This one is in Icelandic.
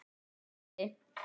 Sæll frændi!